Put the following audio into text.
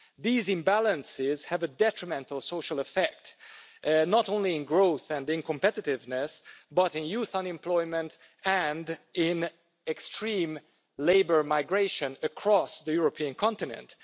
These imbalances have a detrimental social effect, not only in growth and in competitiveness but in youth unemployment and in extreme labour migration across the European continent.